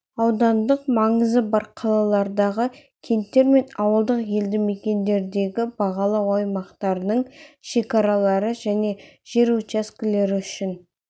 аудандық маңызы бар қалалардағы кенттер мен ауылдық елді мекендердегі бағалау аймақтарының шекаралары және жер учаскелері үшін